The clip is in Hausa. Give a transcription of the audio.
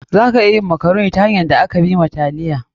Za a iya yin makaroni ta hanyar da aka bi wa taliya.